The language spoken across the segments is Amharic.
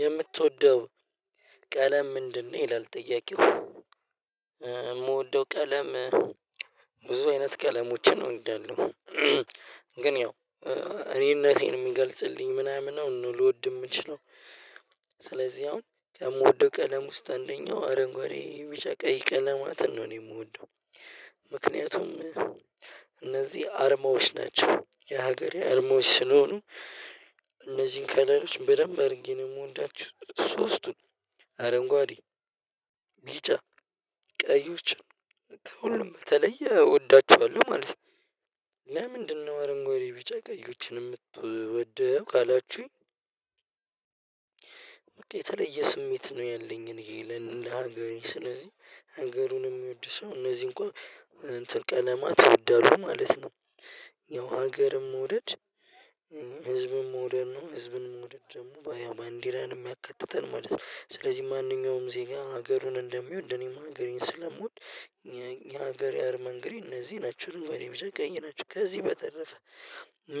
የምትወደው ቀለም ምንድነው? ይላል ጥያቄው የምወደው ቀለም ብዙ አይነት ቀለሞችን ነው እወዳለው። ግን ያው እኔነቴን የሚገልጽልኝ ምናምን ነው ልወድ የምችለው። ስለዚህ አሁን ከምወደው ቀለም ውስጥ አንደኛው አረንጓዴ ቢጫ ቀይ ቀለማትን ነው እኔ የምወደው። ምክንያቱም እነዚህ አርማዎች ናቸው የሀገሬ አርማዎች ስለሆኑ እነዚህን ከለሎች በደንብ አድርጌ ነው የምወዳችሁ ሶስቱን አረንጓዴ ቢጫ ቀዮችን ከሁሉም በተለይ እወዳቸዋለሁ ማለት ነው። ለምንድነው አረንጎዴ ቢጫ ቀዮችን የምትወደው ካላችሁኝ? በቃ የተለየ ስሜት ነው ያለኝን ይሄ ለነገሩኝ ስለዚህ አነገሩን የሚወድ ሰው እነዚህ እንኳን ቀለማት ይወዳሉ ማለት ነው። ያው ሀገርም መውደድ ህዝብም መውደድ ነው ህዝብንም መውደድ ደግሞ ባንዲራንም ያካትታል ማለት ነው። ስለዚህ ማንኛውም ዜጋ ሀገሩን እንደሚወድ እኔም አገሬን ስለምወድ የሀገር ያር መንገሬ እነዚህ ናቸው አረንጓዴ ብጫ ቀይ ናችው። ከዚህ በተረፈ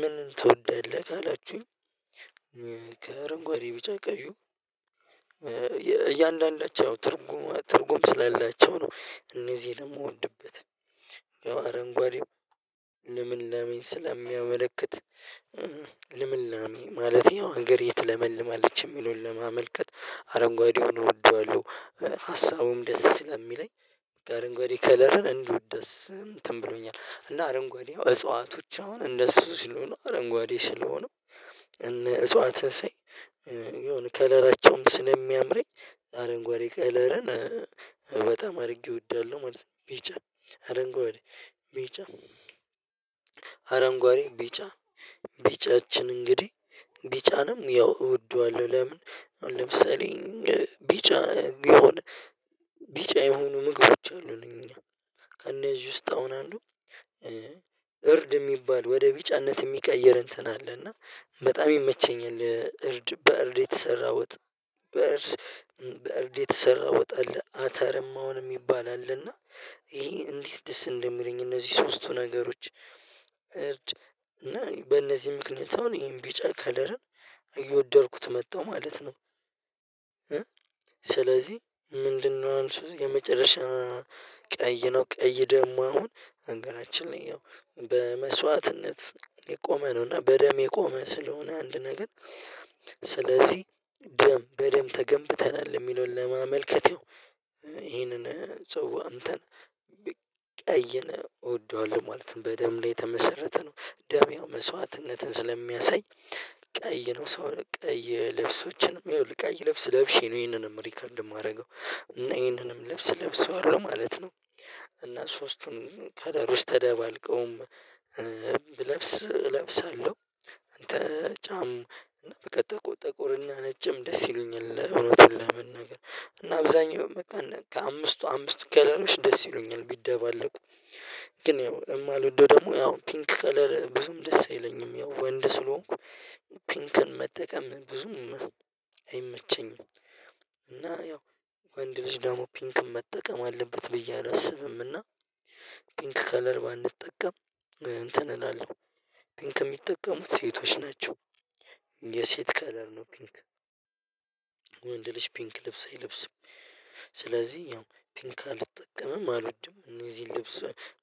ምን ትወዳለህ ካላችሁኝ? ከአረንጓዴ ቢጫ ቀዩ እያንዳንዳቸው ትርጉም ትርጉም ስላላቸው ነው። እነዚህ ደግሞ ምወድበት ያው አረንጓዴው ልምላሜን ስለሚያመለክት ልምላሜን ማለቴ ያው አገሬ ትለመልማለች የሚለውን ለማመልከት አረንጓዴውን እወደዋለሁ። ሀሳቡም ደስ ስለሚለኝ ከአርንጓዴ ከለርን እንዲሁ ደስ እንትን ብሎኛል እና አረንጓዴ እጽዋቶች አሁን እንደሱ ስለሆኑ አረንጓዴ ሲለሆኑ። የሆነ ከለራቸውም ስለምያምረኝ አረንጓዴ ከለርን በጣም አድርጌ እወዳለሁ ማለት ነው። ቢጫ አረንጓዴ ቢጫ አረንጓዴ ቢጫ ቢጫችን እንግዲህ ቢጫንም ያው እወደዋለሁ ለምን? ለምሳሌ ቢጫ ቢሆነ ቢጫ የሆኑ ምግቦች አሉኝ እኛ ከእነዚህ ውስጥ አሁን አነዱ እርድ የሚባል ወደ ቢጫነት የሚቀይር እንትን አለ እና በጣም ይመቸኛል እርድ በእርድ የተሰራው ውጥ። በእርድ የተሰራ ወጣ አለ እና አተርሞ አሁን የሚባል አለ እና ይሄ እንዴት ደስ እንደሚለኝ እነዚህ ሶስቱ ነገሮች እና በእነዚህ ምክንያት አሁን ይሄን ቢጫ ከለርን እየወደድኩት መጣሁ ማለት ነው። ስለዚህ ምንድነው? መልሱ እዚጋ መጨረሻ ቀይ ነው። ቀይ ደግሞ አሁን አገራችን ላይ ያው በመስዋዕትነት የቆመ ነው እና በደም የቆመ ስለሆነ አንድ ነገር። ስለዚህ ደም በደም ተገንብተናል የሚለውን ለማመልከት ያው ይሄንን ሰው አንተን ብ ቀይን እወደዋለሁ ማለት ነው። በደም ላይ የተመሰረተ ነው ደም መስዋዕትነትን ስለሚያሳይ ቀይ ነው። ሰውን ቀይ ልብሶችንም እየውልህ ቀይ ለብስ ለብሼ ነው ይሄንንም ሪከርድ የማደርገው እና ይሄንንም ልብስ ለብሰዋለሁ ማለት ነው። እና ሶስቱን ከለሮች ተደባልቀውም ብለብስ እለብሳለሁ። አንተ ጫም በቃ ጥቁ ጥቁር እና ነጭም ደስ ይሉኛል። እውነቱን ለመናገር እና አብዛኛው በቃ ከአምስቱ አምስቱ ከለሮች ደስ ይሉኛል ቢደባለቁ። ግን ያው የማልወደው ደግሞ ያው ፒንክ ከለር ብዙም ደስ አይለኝም ያው ወንድ ስለሆንኩ ፒንክን መጠቀም ብዙም አይመቸኝም። እና ያው ወንድ ልጅ ደግሞ ፒንክም መጠቀም አለበት ብዬ አላስብም እና ፒንክ ከለር ባንጠቀም እንትን እላለሁ ፒንክ የሚጠቀሙት ሴቶች ናቸው። የሴት ከለር ነው ፒንክ። ወንድልጅ ፒንክ ልብስ አይለብስም። ስለዚህ ያው ፒንክ አልጠቀምም አልወድም እነዚህን ልብስ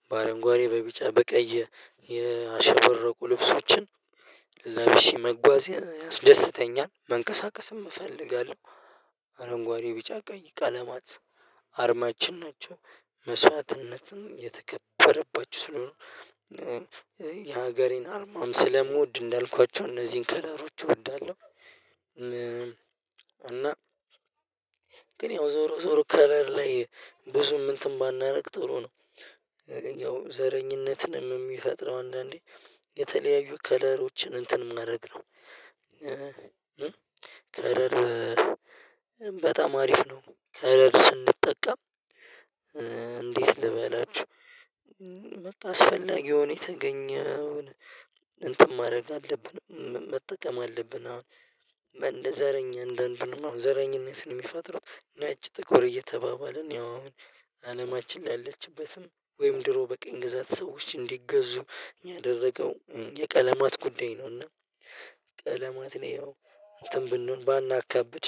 በአረንጓዴ በቢጫ በቀይ የአሸበረቁ ልብሶችን ለብሼ መጓዝ ያስደስተኛል። መንቀሳቀስም እፈልጋለሁ አረንጓዴ ቢጫ ቀይ ቀለማት አርማችን ናቸው። መስዋዕትነትን የተከበረባችሁ ስለሆኑ የሀገሬን አርማም ስለምወድ እንዳልኳቸው እነዚህን ከለሮች እወዳለሁ። እና ግን ያው ዞሮ ዞሮ ከለር ላይ ብዙም እንትን ባናደርግ ጥሩ ነው። ያው ዘረኝነትንም የሚፈጥረው አንዳንዴ የተለያዩ ከለሮችን እንትን መድረግ ነው። ከለር በጣም አሪፍ ነው። ከለር ስንጠቀም እንዴት ልበላችሁ? አስፈላጊ ሆኖ የተገኘውን እንትን ማድረግ አለብን መጠቀም አለብን። አሁን እንደ ዘረኝ እንደ አንዳንዱንማ ዘረኝነትን የሚፋጥሩት ነጭ ጥቁር እየተባባለን ያው አሁን አለማችን ያለችበትን ወይም ድሮ በቀኝ ግዛት ሰዎች እንዲገዙ ያደረገው የቀለማት ጉዳይ ነውና ቀለማትን ያው እንትን ብንሆን ባናካብድ